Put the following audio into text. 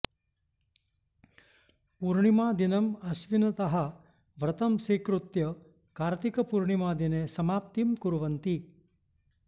पूर्णिमा दिनं अश्विनतः व्रतं स्वीकृत्य कार्त्तिक पूर्णिमा दिने समाप्तिं कुर्वन्ति